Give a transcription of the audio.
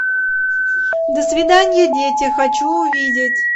до свидания дети хочу увидеть